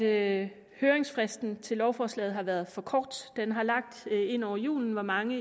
at høringsfristen til lovforslaget har været for kort den lå ind over julen hvor mange